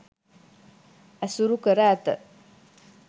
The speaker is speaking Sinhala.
ඇසුරු කර ඇත.